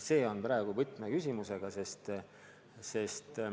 See on praegu võtmeküsimus.